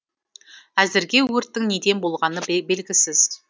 әзірге өрттің неден болғаны белгісіз